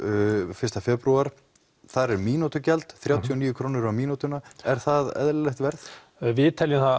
fyrsta febrúar þar er mínútugjald þrjátíu og níu krónur mínútan er það eðlilegt verð við teljum það